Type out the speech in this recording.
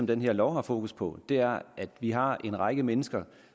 den her lov har fokus på er at vi har en række mennesker